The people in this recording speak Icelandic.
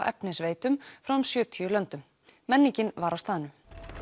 efnisveitum frá um sjötíu löndum menningin var á staðnum